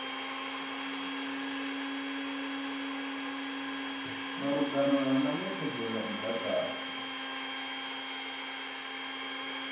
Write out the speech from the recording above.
malugana na netshedzo ya mudagasi